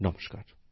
নমস্কার